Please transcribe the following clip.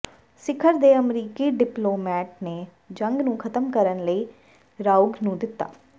ਸਿਖਰ ਦੇ ਅਮਰੀਕੀ ਡਿਪਲੋਮੇਟ ਨੇ ਜੰਗ ਨੂੰ ਖਤਮ ਕਰਨ ਲਈ ਰਾਓਗ ਨੂੰ ਦਿੱਤਾ